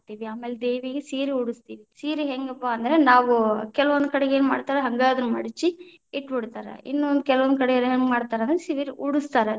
ಆಮೇಲೆ ದೇವಿಗ್‌ ಸೀರೆ ಉಡಸ್ತೇವಿ, ಸೀರೆ ಹೆಂಗಪ್ಪಾ ಅಂದ್ರ ನಾವು ಕೆಲವೊಂದ ಕಡೆಗೆ ಏನ್‌ ಮಾಡ್ತಾರಾ ಹಂಗ ಅದನ್ನ ಮಡಚಿ ಇಟ್ಟಬಿಡ್ತಾರ, ಇನ್ನು ಕೆಲವೊಂದ ಕಡೆ ಹೆಂಗ ಮಾಡ್ತಾರ ಅಂದ್ರ ಸೀರೆ ಉಡಸ್ತಾರ.